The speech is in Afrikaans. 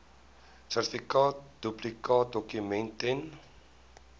sertifikaat duplikaatdokument ten